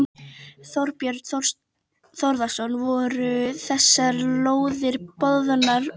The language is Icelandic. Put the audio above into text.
Þorbjörn Þórðarson: Voru þessar lóðir boðnar út?